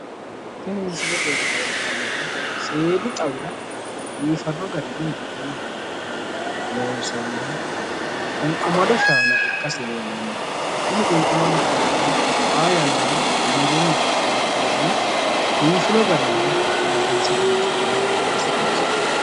Tini misilete leeltannoti, seedu xawira biifadu garinni giwirinnu hayyonni loonsonniha qunwumado shaana ikkasi leellanno. Kuni qunwumadu shaanino xaa yannara giwirinnu abbino hayyonni biifino garinni biifinse loonsonniha ikkasi leellanno.